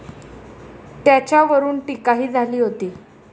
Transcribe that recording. त्याच्यावरून टीकाही झाली होती.